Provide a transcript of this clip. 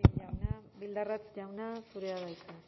gil jauna bildarratz jauna zurea da hitza